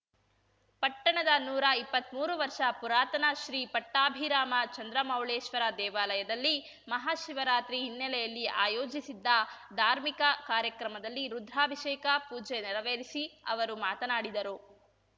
ಪಟ್ಟಣದ ನೂರಾ ಇಪ್ಪತ್ಮೂರು ವರ್ಷ ಪುರಾತನ ಶ್ರೀ ಪಟ್ಟಾಭಿರಾಮ ಚಂದ್ರಮೌಳೀಶ್ವರ ದೇವಾಲಯದಲ್ಲಿ ಮಹಾಶಿವರಾತ್ರಿ ಹಿನ್ನೆಲೆಯಲ್ಲಿ ಆಯೋಜಿಸಿದ್ದ ಧಾರ್ಮಿಕ ಕಾರ್ಯಕ್ರಮದಲ್ಲಿ ರುದ್ರಾಭಿಷೇಕ ಪೂಜೆ ನೆರವೇರಿಸಿ ಅವರು ಮಾತನಾಡಿದರು